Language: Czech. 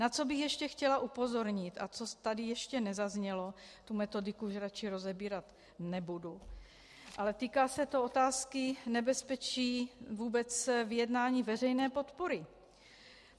Na co bych ještě chtěla upozornit a co tady ještě nezaznělo, tu metodiku už radši rozebírat nebudu, ale týká se to otázky nebezpečí vůbec vyjednání veřejné podpory.